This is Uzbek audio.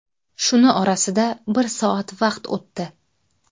Shuni orasida bir soat vaqt o‘tdi.